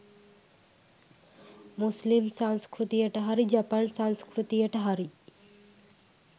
මුස්ලිම් සංස්කෘතියට හරි ජපන් සංස්කෘතියට හරි